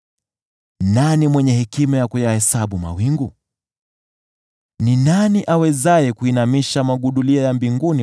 Nani mwenye hekima ya kuyahesabu mawingu? Ni nani awezaye kuinamisha magudulia ya mbinguni